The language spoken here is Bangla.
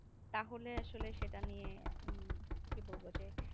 তাহলে আসলে সেটা নিয়ে কি বলবো যে